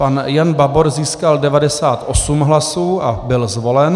Pan Jan Babor získal 98 hlasů a byl zvolen.